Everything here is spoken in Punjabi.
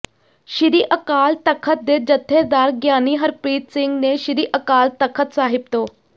ਸ੍ਰੀ ਅਕਾਲ ਤਖਤ ਦੇ ਜਥੇਦਾਰ ਗਿਆਨੀ ਹਰਪ੍ਰੀਤ ਸਿੰਘ ਨੇ ਸ੍ਰੀ ਅਕਾਲ ਤਖ਼ਤ ਸਾਹਿਬ ਤੋਂ